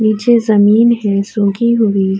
نیچے جمین ہے سخی ہوئی --